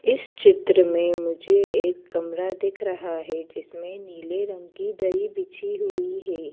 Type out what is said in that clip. इस चित्र में मुझे एक कमरा दिख रहा है जिसमें नीले रंग की दरी बिछी हुई है।